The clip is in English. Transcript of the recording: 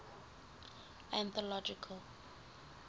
anthological